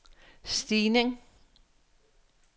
stigning